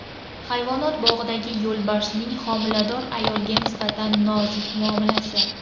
Hayvonot bog‘idagi yo‘lbarsning homilador ayolga nisbatan nozik muomalasi.